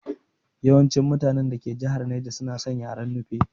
Yawancin mutanen dake jihar naja suna san yaren Nufe